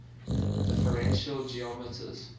differential geometers